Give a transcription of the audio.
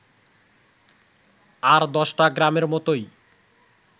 আর দশটা গ্রামের মতোই